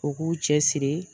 U k'u cɛ siri